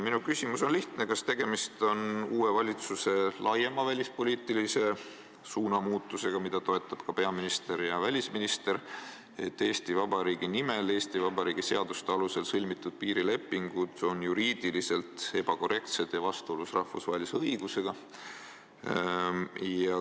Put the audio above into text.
Minu küsimus on lihtne: kas tegemist on uue valitsuse suurema välispoliitilise suunamuutusega, mida toetavad ka peaminister ja välisminister, et Eesti Vabariigi nimel Eesti Vabariigi seaduste alusel sõlmitud piirileping on juriidiliselt ebakorrektne ja vastuolus rahvusvahelise õigusega?